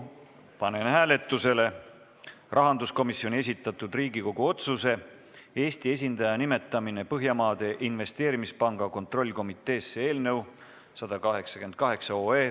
Panen hääletusele rahanduskomisjoni esitatud Riigikogu otsuse "Eesti esindaja nimetamine Põhjamaade Investeerimispanga kontrollkomiteesse" eelnõu 188.